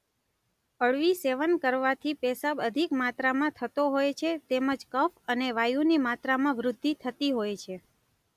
અળવી સેવન કરવાથી પેશાબ અધિક માત્રામાં થતો હોય છે તેમજ કફ અને વાયુની માત્રામાં વૃદ્ધિ થતી હોય છે.